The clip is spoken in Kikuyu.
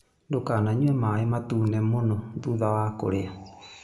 Ndũkananyue maĩ matune mũno thutha wa kũrĩa.